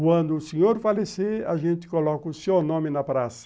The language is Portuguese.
Quando o senhor falecer, a gente coloca o seu nome na praça.